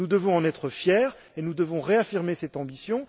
Nous devons en être fiers et nous devons réaffirmer cette ambition.